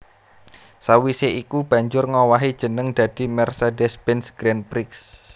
Sawisé iku banjur ngowahi jeneng dadi Mercedes Benz Grand Prix